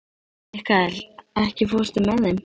Mikkael, ekki fórstu með þeim?